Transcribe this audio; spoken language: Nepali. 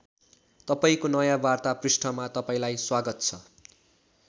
तपाईँको नयाँ वार्ता पृष्ठमा तपाईँलाई स्वागत छ।